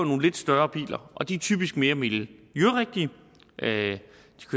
nogle lidt større biler og de er typisk mere miljørigtige